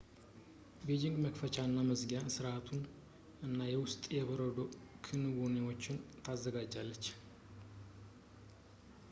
ቤጂንግ የመክፈቻ እና የመዝጊያ ሥርዓቶቹን እና የውስጥ የበረዶ ክንዋኔዎችን ታዘጋጃለች